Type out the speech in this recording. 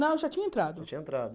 Não, eu já tinha entrado. Tinha entrado